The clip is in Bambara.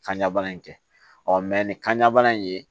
Kanɲabana in kɛ ɔ ni kanɲa bana in ye